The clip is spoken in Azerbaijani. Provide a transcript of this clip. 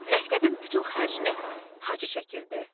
Məktəbin bütün xərcini Hacı çəkirdi.